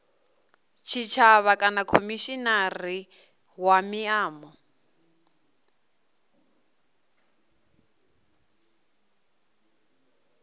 tshitshavha kana khomishinari wa miano